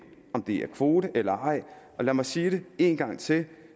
det om kvoter eller ej lad mig sige det en gang til